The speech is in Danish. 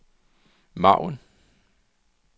margen